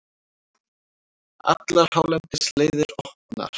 Allar hálendisleiðir opnar